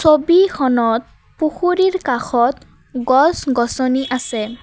ছবিখনত পুখুৰীৰ কাষত গছ গছনি আছে।